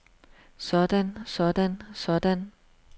sådan sådan sådan